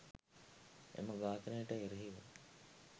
එම ඝාතනය ට එරෙහිව